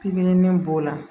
Pikiri b'o la